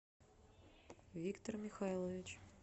виктор михайлович